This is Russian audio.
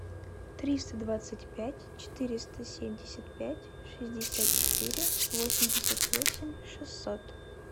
триста двадцать пять четыреста семьдесят пять шестьдесят четыре восемьдесят восемь шестьсот